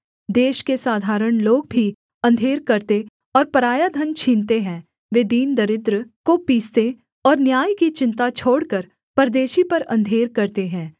देश के साधारण लोग भी अंधेर करते और पराया धन छीनते हैं वे दीन दरिद्र को पीसते और न्याय की चिन्ता छोड़कर परदेशी पर अंधेर करते हैं